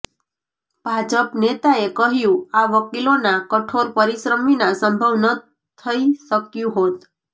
ભાજપ નેતાએ કહ્યુ આ વકીલોના કઠોર પરિશ્રમ વિના સંભવ ન થઈ શક્યુ હોત